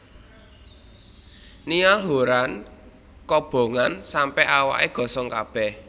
Niall Horran kobongan sampe awake gosong kabeh